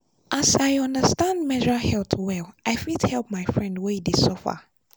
as i understand menstrual health well i fit help my friend wey dey suffer.